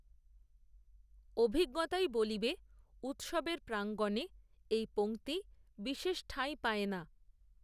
অভিজ্ঞতাই বলিবে, উত্সবের প্রাঙ্গনে, এই পংক্তি, বিশেষ, ঠাঁই পায় না